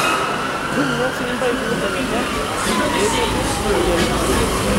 Ntumiya sii mpaipi tedekenya pee metum moyiaritin.